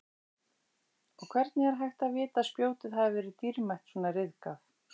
Og hvernig er hægt að vita að spjótið hafi verið dýrmætt svona ryðgað?